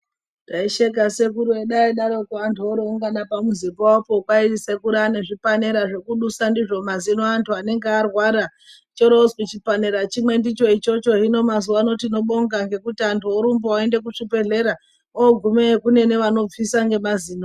Taisheka sekuru edu aidaroko antu oroongana pamuzi pawopo kwai sekuru ane zvipanera zvekudusa ndizvo mazino anhu anenge arwara choorozwi chipanera chimwe ndicho ichocho hino mazuwa ano tinobonga ngekuti anhu orumba oende kuzvibhehlera ogumeyo kune anobvisa ngemazino.